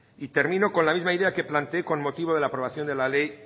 y termino con la misma idea con que planteé con motivo de la aprobación de la ley